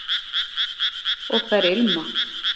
og þær ilma